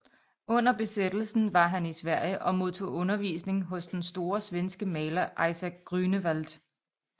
Under besættelsen var han i Sverige og modtog undervisning hos den store svenske maler Isaac Grünewald